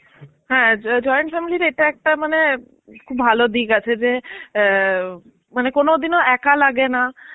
হ্যাঁ, জ~ join family তে এটা একটা মানে খুব ভালো দিক আছে যে আ মানে কোনোদিনও একা লাগেনা.